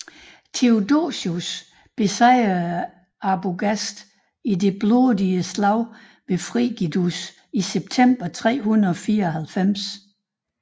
Theodosius besejrede Arbogast i det blodige slag ved Frigidus i september 394